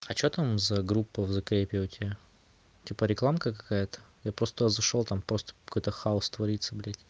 а что там за группа в закрепе типа рекламка какая-то я просто зашёл там просто какой-то хаос творится блять